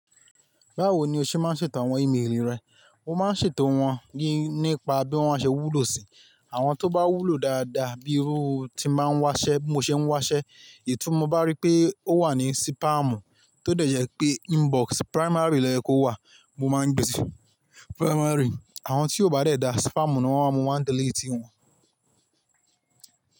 Báwo ni o ṣe máa ń ṣètò àwọn ímélì rẹ? Mo máa ń ṣètò wọn nípa bí wọ́n ṣe wúlò si. Àwọn tó bá wúlò dáadáa bíi irú tí ba n wa ṣe bi mo se n wásẹ́ èyí tí mo bá rí pé ó wà ní sípámù tó dẹ̀jẹ̀ pé inbox primary lọ ye kó wà mo máa ń gbé sí primary. Àwọn tí ó bá dẹ̀da sípámù ni wọ́n máa mú, màá delete wọn.